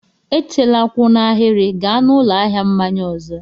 Echela kwụ n'ahịrị, gaa n'ụlọ ahịa mmanya ọzọ!